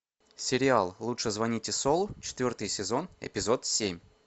сериал лучше звоните солу четвертый сезон эпизод семь